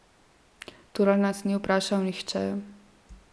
Torej, nas ni vprašal nihče.